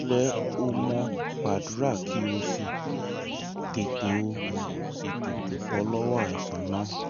ire o mo gbàdúrà kí o sì tètè o sì tètè bọ́ lọ́wọ́ àìsàn náà